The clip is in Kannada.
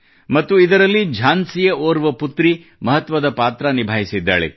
ಮತ್ತು ಇದರಲ್ಲಿ ಝಾನ್ಸಿಯ ಓರ್ವ ಪುತ್ರಿ ಮಹತ್ವದ ಪಾತ್ರ ನಿಭಾಯಿಸಿದ್ದಾಳೆ